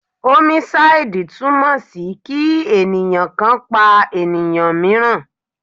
Homicide túmọ̀ sí kí ènìyàn kan pa ènìyàn míìràn.